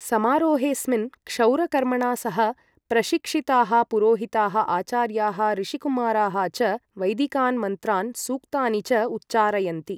समारोहेस्मिन् क्षौरकर्मणा सह, प्रशिक्षिताः पुरोहिताः, आचार्याः, ऋषिकुमाराः च वैदिकान् मन्त्रान् सूक्तानि च उच्चारयन्ति।